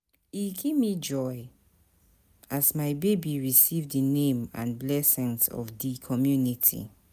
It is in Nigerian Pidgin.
E give me joy as my baby receive di name and blessings of di community